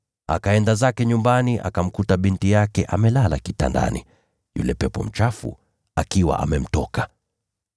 Akaenda zake nyumbani akamkuta binti yake amelala kitandani, yule pepo mchafu akiwa amemtoka.